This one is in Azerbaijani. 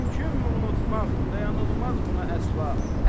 Mümkünmü unutmaq, dayanılmaz buna əsla.